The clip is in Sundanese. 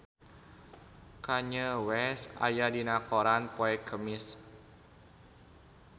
Kanye West aya dina koran poe Kemis